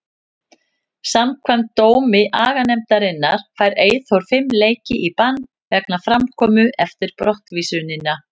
Samkvæmt dómi aganefndarinnar fær Eyþór fimm leiki í bann vegna framkomu eftir brottvísunina.